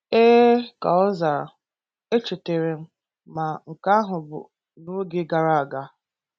Ee, ka ọ zara, e chetara m, ma nke ahụ bụ n’oge gara aga.